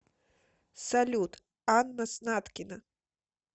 салют анна снаткина